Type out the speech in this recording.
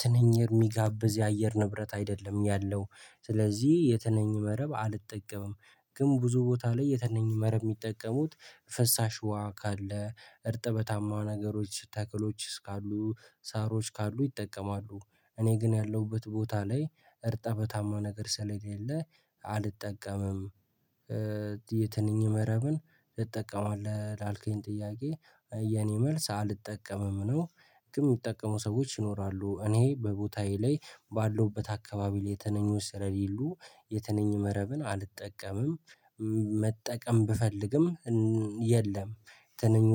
ትንኝ የሚጋብዝ የአየር ንብረት አይደለም። ያለው ስለዚህ የትንኝ መረብ አልጠቀምም። ግን ብዙ ቦታ ላይ የትንኝ መረብ የሚጠቀሙት ፈሳ ሽዋ ካለ እርጥበታማ ነገሮች ተክሎች እስካሉ ሳሮች ካሉ ይጠቀማሉ። እኔ ግን ያለሁበት ቦታ ላይ እርጥበታማ ነገር ስለሌለ አልጠቀምም። የትንኝ መረብን ትጠቀማለህ ላልከኝ ጥያቄ የኔ መልስ አልጠቀምም ነው። የሚጠቀሙ ሰዎች ይኖራሉ እኔ በቦታዬ ላይ ባለሁበት አካባቢ ላይ ትንኞች ስለሌሉ የተነኙ መረብን አልጠቀምም። መጠቀም ብፈልግም የለም። ትንኝ